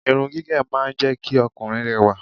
irun gígé máa ń jẹ́ kí Ọkùnrin rẹwà